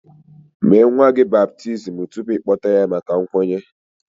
Mee nwa gị baptizim tupu ị kpọta ya maka nkwenye